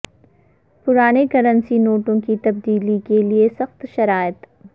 پرانے کرنسی نوٹوں کی تبدیلی کے لئے سخت شرائط